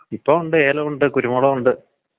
ആ കാലാവസ്ഥയെ കുറിച്ച് നിന്‍റെ അഭിപ്രായം പറ.